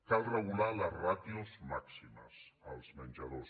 cal regular les ràtios màximes als menjadors